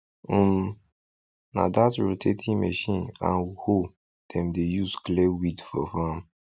um na that rotating machine and hoe dem dey use clear weed for farm